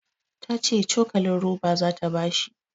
Ta ce cokalin roba zata ba shi